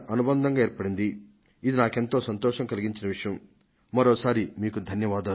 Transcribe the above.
మీ అందరికీ ఇవే నా హృదయపూర్వక ధన్యవాదాలు